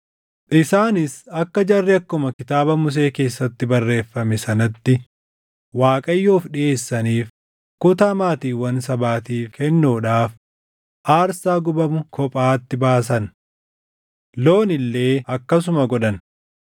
Isaanis akka jarri akkuma Kitaaba Musee keessatti barreeffame sanatti Waaqayyoof dhiʼeessaniif kutaa maatiiwwan sabaatiif kennuudhaaf aarsaa gubamu kophaatti baasan. Loon illee akkasuma godhan.